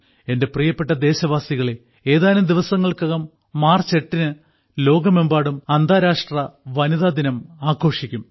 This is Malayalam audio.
എന്റെ പ്രിയപ്പെട്ട ദേശവാസികളേ ഏതാനും ദിവസങ്ങൾക്കകം മാർച്ച് 8 ന് ലോകമെമ്പാടും അന്താരാഷ്ട്ര വനിതാദിനം ആഘോഷിക്കും